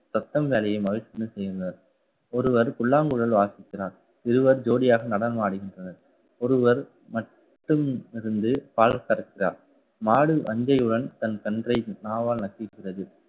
ஒருவர் புல்லாங்குழல் வாசிக்கிறார். இருவர் ஜோடியாக நடனம் ஆடுகின்றனர். ஒருவர் மட்டும் இருந்து பால் கறக்கிறார். மாடு வாஞ்சையுடன் தன் கன்றை நாவால்நக்கிகிறது